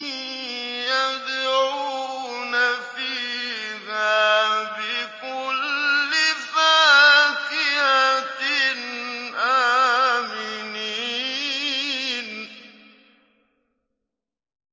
يَدْعُونَ فِيهَا بِكُلِّ فَاكِهَةٍ آمِنِينَ